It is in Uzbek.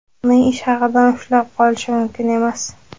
uning ish haqidan ushlab qolinishi mumkin emas.